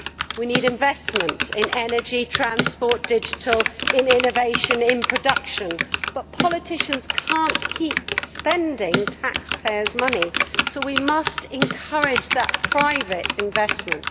We need investment in energy, transport, digital, innovation, production, but politicians cannot keep spending taxpayers' money, so we must encourage that private investment.